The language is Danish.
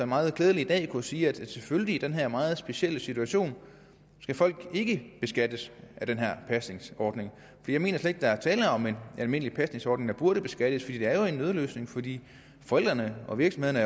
meget klædeligt i dag kunne sige at selvfølgelig i den her meget specielle situation skal folk ikke beskattes af den her pasningsordning jeg mener slet der er tale om en almindelig pasningsordning der burde beskattes for det er jo en nødløsning fordi forældrene og virksomhederne